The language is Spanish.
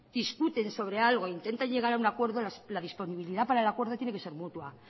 discuten sobre algo e intentan llegar a un acuerdo la disponibilidad para el acuerdo tiene que ser mutua